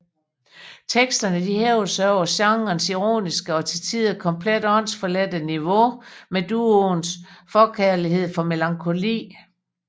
Teksterne hæver sig over genrens ironiske og til tider komplet åndsforladte niveau med duoens forkærlighed for melankoli